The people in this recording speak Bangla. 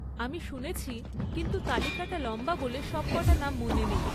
আমি শুনেছি, কিন্তু তালিকাটা লম্বা বলে সবক'টা নাম মনে নেই।